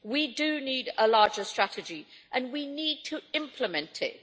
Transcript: We do need a larger strategy and we need to implement it.